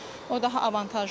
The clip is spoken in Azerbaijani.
O daha avantajlıdır.